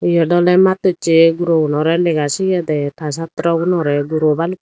iyot ole masto chi guro gunore lega sigey der ta satro gunore guro